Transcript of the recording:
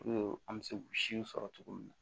an bɛ se sɔrɔ cogo min na